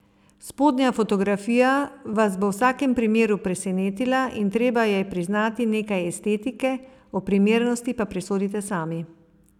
Spodnja fotografija vas bo v vsakem primeru presenetila in treba ji je priznati nekaj estetike, o primernosti pa presodite sami.